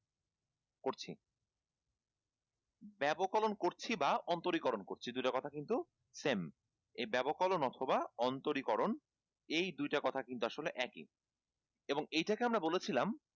করছি ব্যবকলন করছি বা অন্তরীকরণ করছি দুইটা কথা কিন্তু same এই ব্যাবকনল অথবা অন্তরীকরণ এই দুইটা কথা কিন্তু আসলে একই এবং এটাকে আমরা বলেছিলাম